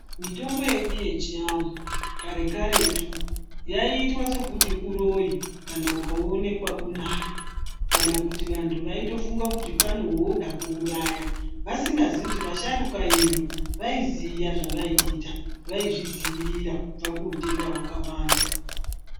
Mitombo yedu yechianthu kare karetu yaiitwa sekuti uroyi kana ukaonekwa unayo kana kuti vanthu vaitofunga kuti pane waunoda kuuraya vasingazivi kuti asharukwa vedu vaiziya zvavaiita vaizvidziirira kubva kuhutenda hwakawanda.